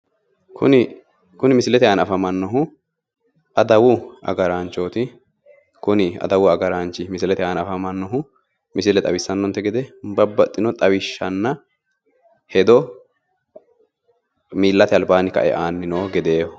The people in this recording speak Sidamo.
Kuni misilete ana afammannohu adawu agraanchooti. Kuni adawu agaraanchi misilete aana afamannohu misile xawissanonte gede babbaxxino xawishshanna hedo miillate albaanni kae aanni noo gedeeho.